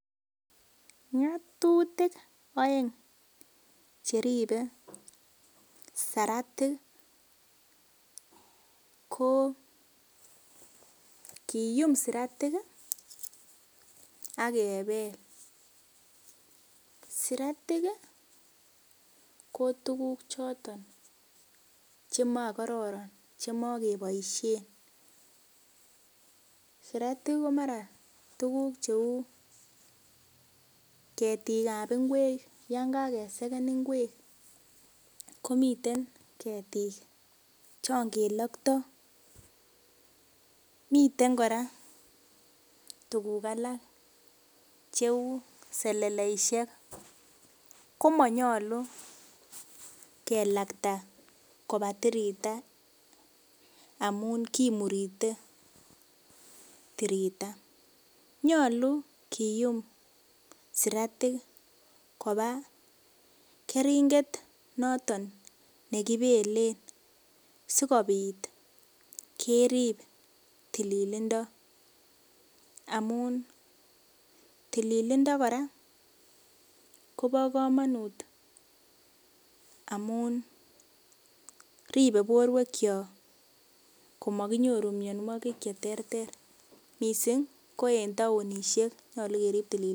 Ngotutik oeng cheribe saratik ko kiyum saratik akebel siratik ko tukuk choton chemokororon chemakeboishen siratik ko mara tukuk cheu ketik ap ng'wek yon kakesekan ng'wek komiten ketik chonkeloktoi miten kora tukuk alak cheu seleleishek komonyolu kelakta koba tirita amun kimurite tirita nyolu kiyum siratik koba keringet noton nekibelen sikobit kerip tililindo amun tililindo kora Kobo komonut amunribe borwek cho komakinyoru mionwokik che ter ter mising ko en taonishek nyolu kerip tililindo.